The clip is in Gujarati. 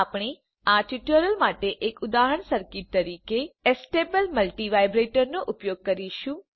આપણે આ ટ્યુટોરીયલ માટે એક ઉદાહરણ સર્કિટ તરીકે એસ્ટેબલ મલ્ટિવાઇબ્રેટર નો ઉપયોગ કરીશું